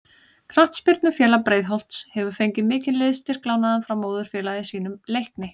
Knattspyrnufélag Breiðholts hefur fengið mikinn liðsstyrk lánaðan frá móðurfélagi sínu Leikni.